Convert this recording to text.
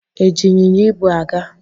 E ji ịnyịnya ibu a gaa?